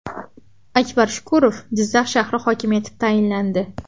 Akbar Shukurov Jizzax shahri hokimi etib tayinlandi.